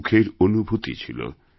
এক সুখের অনুভূতি ছিল